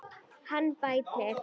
Hann bætir.